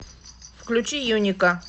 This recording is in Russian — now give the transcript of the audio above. включи юника